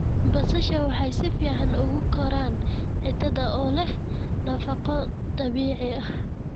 Basasha waxay si fiican ugu koraan ciidda oo leh nafaqo dabiici ah.